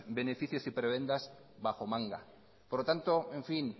beneficios y prebendas bajo manga por lo tanto en fin